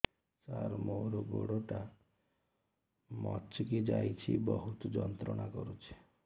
ସାର ମୋର ଗୋଡ ଟା ମଛକି ଯାଇଛି ବହୁତ ଯନ୍ତ୍ରଣା କରୁଛି